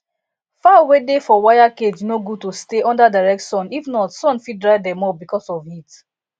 fowl wey dey for wire cage no good to stay under direct sun if not sun fit dry dem up because of heat